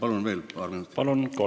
Palun veel paar minutit!